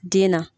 Den na